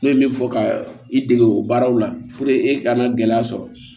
Ne ye min fɔ ka i dege o baaraw la e kana gɛlɛya sɔrɔ